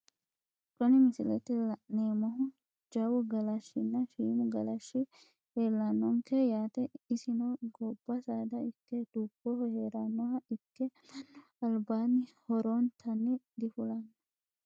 Kuni misilete la`neemohu jawu galashinna shiimu galashi leelanonke yaate isino gobba saada ikke duboho heeranoha ikke manu albaani horontani difulano.